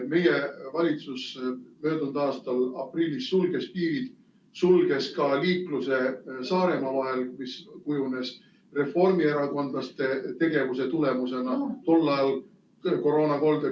Meie valitsus möödunud aasta aprillis sulges piirid, sulges ka liiklemise Saaremaa vahel, mis kujunes reformierakondlaste tegevuse tulemusena tollal koroonakoldeks.